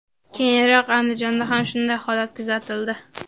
Keyinroq Andijonda ham shunday holat kuzatildi.